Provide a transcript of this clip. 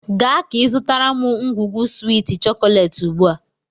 Gaa ka izụtara m u ngwugwu swiiti chokolééti ugbu a!